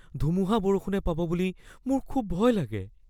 ধুমুহা-বৰষুণে পাব বুলি মোৰ খুব ভয় লাগে।